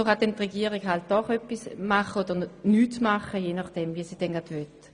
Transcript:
So kann die Regierung je nachdem etwas unternehmen oder auch untätig bleiben.